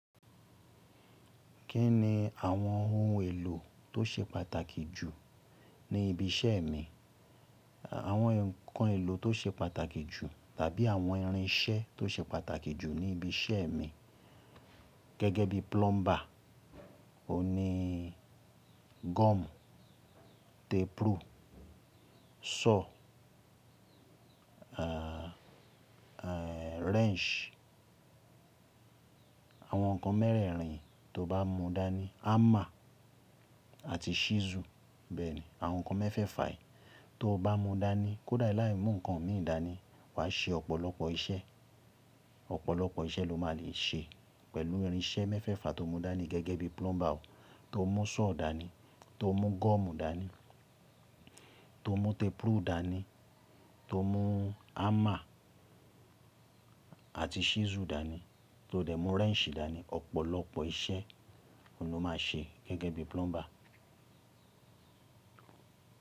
Kí ni àwọn ohun èlò tó ṣe pàtàkì jù ní ibi iṣẹ́ mi? Àwọn ǹkan èlò tó ṣe pàtàkì jù tàbí àwọn irinṣẹ́ tó ṣe pàtàkì jù ní ibi iṣẹ́ mi gẹ́gẹ́ bí plumber, òun nii gum, tape rule, saw, ahh, wrench, àwọn ǹkan mẹ́rẹ̀ẹ̀rin tó bá mú dání, hammer àti chisel bẹ́ẹ̀ni, àwọn ǹkan mẹ́fẹ̀fà ẹ́ tó o bá mú dání, kódà láì mú ǹkan míi dání, wàá ṣe ọ̀pọ̀lọpọ̀ iṣẹ́, ọ̀pọ̀lọpọ̀ iṣẹ́ lo máa lè ṣe pẹ̀lú irinṣẹ́ mẹ́fẹ̀fa tóo mú dání gẹ́gẹ́ bí plumber tóo mú saw dání, tóo mú gum dání, tóo mú tape rule dání, tóo mú hammer àti chisel dání, tó dẹ̀ mú wrench dání, ọ̀pọ̀lọpọ̀ iṣẹ́ òun ló máa ṣe gẹ́gẹ́ bí plumber.